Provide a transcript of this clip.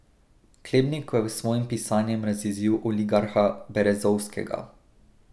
Klebnikov je s svojim pisanjem razjezil oligarha Berezovskega.